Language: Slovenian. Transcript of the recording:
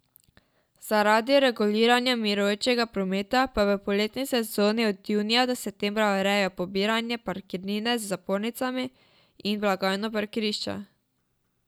Zaradi reguliranja mirujočega prometa pa v poletni sezoni od junija do septembra urejajo pobiranje parkirnine z zapornicami in blagajno parkirišča.